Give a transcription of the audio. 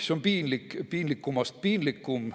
See on piinlikust piinlikum.